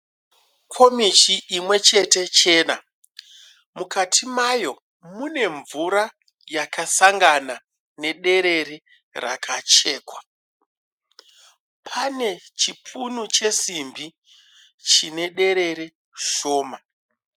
Komichi imwechete chena. Mukati mayo mune mvura yakasangana nederere rakachekwa. Pane chipunu chesimbi chinederere shoma.